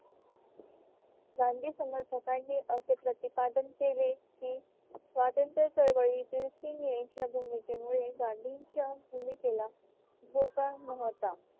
गांधी समर्थकांनी असे प्रतिपादन केले कि स्वातंत्र्य चळवळीत सिंग यांच्या भूमिकेमुळे गांधींच्या भूमिकेला धोका नव्हता